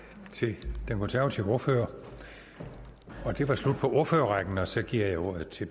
til den konservative ordfører det var slut på ordførerrækken og så giver jeg ordet til